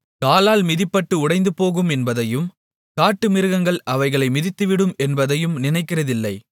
காலால் மிதிபட்டு உடைந்துபோகும் என்பதையும் காட்டுமிருகங்கள் அவைகளை மிதித்துவிடும் என்பதையும் நினைக்கிறதில்லை